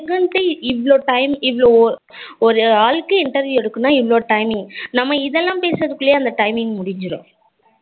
இவ்வளோ time இவ்வளோ, ஒரு ஆளுக்கு interview எடுக்கணும்னா இவ்வளோ timing நம்ம இதெல்லாம் பேசதுக்குள்லே அந்த timing முடிஞ்சிரும்